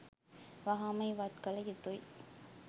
වහාම ඉවත් කළ යුතුයි.